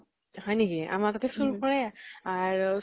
হয় নেকি, আমাৰ তাতে চুৰ কৰে। আহ